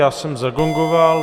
Já jsem zagongoval.